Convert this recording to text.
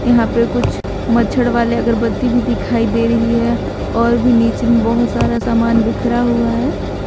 यहां पे कुछ मच्छड़ वाले अगरबत्ती भी दिखाई दे रही है और भी नीचे बहोत सारा सामान बिखरा हुआ है।